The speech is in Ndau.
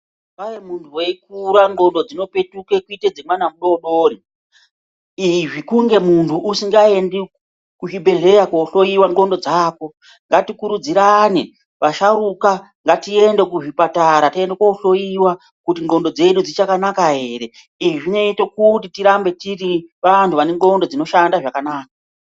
Kwai muntu veikura ndxondo dzinopetuka kuita dzemwana mudodori. Izvi kunge muntu usingaendi kuzvibhedhleya kohloiwa ndxondo dzako. Ngatikurudzirane vasharuka ngatiende kuzvipatara tiende kohloiwa kuti ndxondo dzedu dzichakanaka ere. Izvi zvinoite kuti tirambe tiri vantu vane ndxondo dzinoshanda zvakanaka.